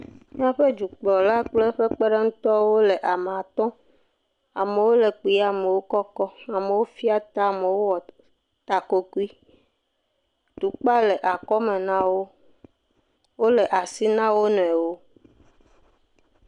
Miaƒe dukplɔla kple eƒe kpeɖeŋutɔwo wole ame at. Amewo le kpuie, amewo kɔkɔ, amewo fia ta, amewo wɔ ɖa, ta kokui. Tukpa le akɔme nawo. Wole asi nam wo nɔewo.